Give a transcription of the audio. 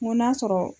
N ko n'a sɔrɔ